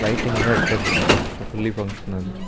ಲೈಟಿಂಗ್ಲ ಎಡ್ಡೆ ಬೂರ್ಂಡು ಫುಲ್ಲಿ ಫಂಕ್ಷನ್ನಲ್ --